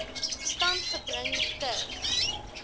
stand gebring ter